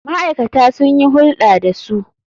Ma'aikata sun yi hulɗa da su.